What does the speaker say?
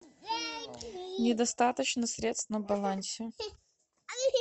недостаточно средств на балансе